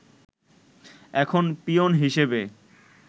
এখন পিওন হিসেবে